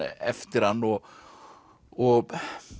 eftir hann og og